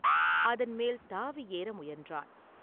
அதன் மேல் தாவி ஏற முயன்றான்.